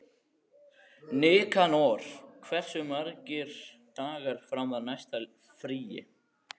Nikanor, hversu margir dagar fram að næsta fríi?